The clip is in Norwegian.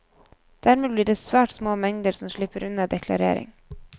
Dermed blir det svært små mengder som slipper unna deklarering.